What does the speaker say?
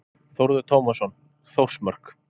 Þórður Tómasson, Þórsmörk.